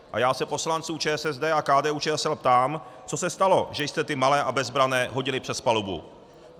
A já se poslanců ČSSD a KDU-ČSL ptám, co se stalo, že jste ty malé a bezbranné hodili přes palubu?